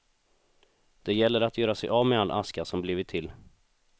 Det gäller att göra sig av med all aska som blivit till.